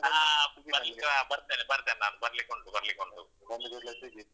ಆ ಬರ್ಲಿಕ್ಕ್~ ಬರ್ತೇನೆ ಬರ್ತೇನೆ ನಾನು ಬರ್ಲಿಕ್ಕುಂಟು ಬರ್ಲಿಕ್ಕುಂಟು .